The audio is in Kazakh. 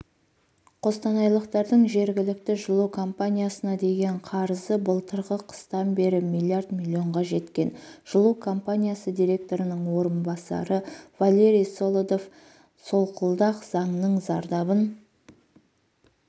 қостанайлықтардың жергілікті жылу компаниясына деген қарызы былтырғы қыстан бері млрд миллионға жеткен жылу компаниясы директорының орынбасары валерий солодов солқылдақ заңның зардабын